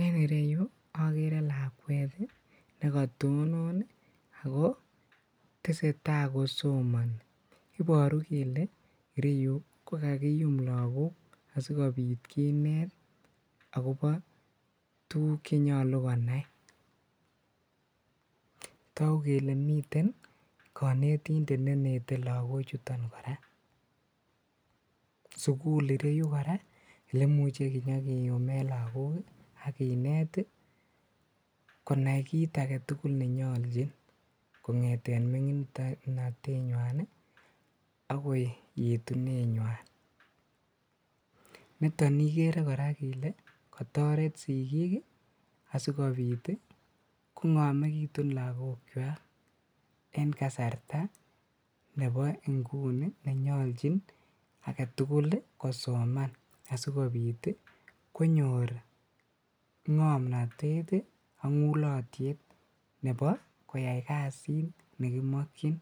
En ireyu okere lakwet nekotonon akotese taa kosomoni iboru kele ireyu kokakiyum lagok sikobit kinet akobo tuguk chenyolu konai, toguk kele miten konetindet nenete lagochuton koraa, sukul ireyu koraa elemuche kinyokiyumen lagok ii ak kinet konai kit agetugul nenyoljin kongeten minginotenywan agoi yetunenywan ,nitok ikeree ile kotoret sigik asikobit kongomekitun lagok en kasarta nebo ingunii nenyoljin agetugul kosoman asikobit konyor ngomnotet ii ak ngulotiet nebo koyai kasit nekimokyin